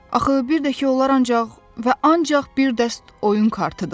Axı bir də ki, onlar ancaq və ancaq bir dəst oyun kartıdırlar.